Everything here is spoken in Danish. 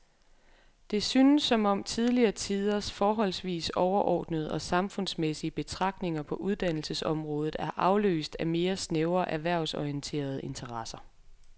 Det synes som om tidligere tiders forholdsvis overordnede og samfundsmæssige betragtninger på uddannelsesområdet er afløst af mere snævre erhvervsorienterede interesser.